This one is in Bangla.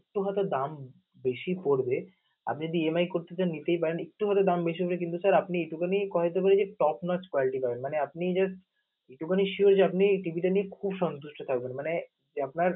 একটু হয়ত দাম~ম বেশি পরবে আপনি যদি EMI করতে চান নিতেই পারেন একটু হয়ত দাম হবে কিন্তু আপনি এইটুকু কথা দিতে পারি top class quality মানে আপনি যে এইটুকু sure যে আপনি নিয়ে খুব সন্তুষ্ট থাকবেন মানে যে আপনার